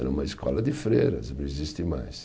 Era uma escola de freiras, não existe mais.